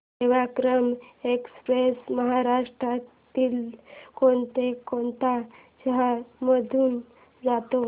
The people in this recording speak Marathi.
सेवाग्राम एक्स्प्रेस महाराष्ट्रातल्या कोण कोणत्या शहरांमधून जाते